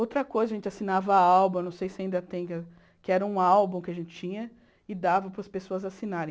Outra coisa, a gente assinava álbum, não sei se ainda tem, que era um álbum que a gente tinha e dava para as pessoas assinarem.